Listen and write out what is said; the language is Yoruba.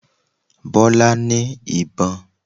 Bọ́lá ní ìbọn